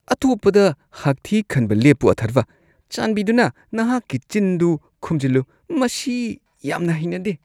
ꯑꯇꯣꯞꯄꯗ ꯍꯥꯛꯊꯤ ꯈꯟꯕ ꯂꯦꯞꯄꯨ ꯑꯊꯔꯕꯥ꯫ ꯆꯥꯟꯕꯤꯗꯨꯅ ꯅꯍꯥꯛꯀꯤ ꯆꯤꯟꯗꯨ ꯈꯨꯝꯖꯤꯜꯂꯨ꯫ ꯃꯁꯤ ꯌꯥꯝꯅ ꯍꯩꯅꯗꯦ꯫